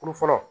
Kulu fɔlɔ